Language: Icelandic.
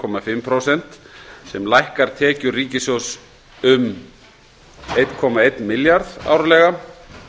og fimm prósent sem lækkar tekjur ríkissjóðs lækka um eitt komma eitt milljarð árlega